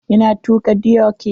Ina tuaka dioki.